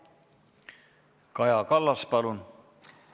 Kaja Kallas, palun!